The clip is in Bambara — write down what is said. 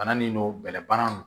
Bana nin don bɛlɛbana don